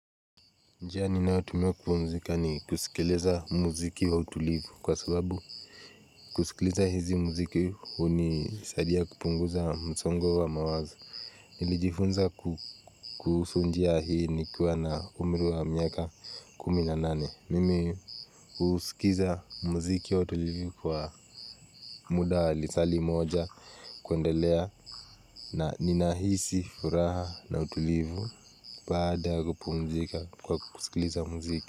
Njia ninayotumia kupumzika ni kusikiliza muziki wa utulivu kwa sababu kusikiliza hizi muziki hunisaidia kupunguza msongo wa mawazo. Nilijifunza kuhusu njia hii nikiwa na umri wa miaka kumi na nane, mimi kusikiza muziki wa utulivu kwa muda wa lisaa moja kuendelea na ninahisi furaha na utulivu. Baada ya kupumzika kwa kusikiliza muziki.